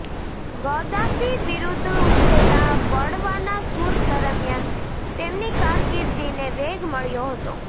Gaddafi વિરુદ્ધ ઉઠેલા બળવાના સૂર દરમિયાન તેમની કારકિર્દીને વેગ મળ્યો હતો